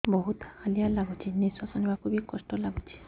ବହୁତ୍ ହାଲିଆ ଲାଗୁଚି ନିଃଶ୍ବାସ ନେବାକୁ ଵି କଷ୍ଟ ଲାଗୁଚି